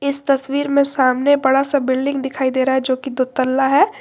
इस तस्वीर में सामने बड़ा सा बिल्डिंग दिखाई दे रहा है जोकि दो तल्ला है।